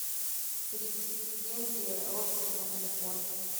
перевести деньги родственнику на телефон